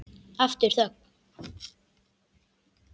Aftur þögn.